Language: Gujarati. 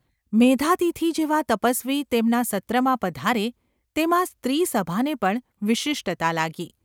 મેધાતિથિ જેવા તપસ્વી તેમના સત્રમાં પધારે તેમાં સ્ત્રી સભાને પણ વિશિષ્ટતા લાગી.